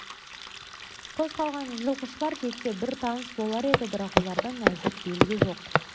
қоста қалған жылқышылар жетсе бір тыныс болар еді бірақ олардан әзір белгі жоқ